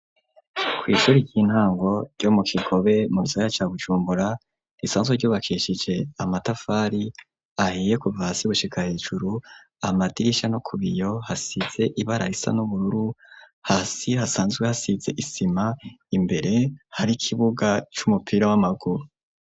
Ku ishure ry'intango ryo mu kikobe mu gisaka ca Bujumbura risanzwe ryubakishije amatafari ahiye kuva hasi gushika hejuru amadirisha no kubiyo hasize ibara isa n'ubururu hasi hasanzwe hasize isima imbere hari ikibuga c'umupira w'amaguru.